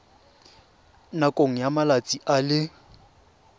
nakong ya malatsi a le